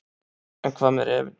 En hvað með refinn.